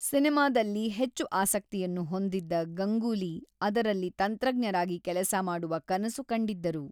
ಸಿನೆಮಾದಲ್ಲಿ ಹೆಚ್ಚು ಆಸಕ್ತಿಯನ್ನು ಹೊಂದಿದ್ದ ಗಂಗೂಲಿ ಅದರಲ್ಲಿ ತಂತ್ರಜ್ಞರಾಗಿ ಕೆಲಸ ಮಾಡುವ ಕನಸು ಕಂಡಿದ್ದರು.